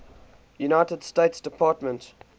united states department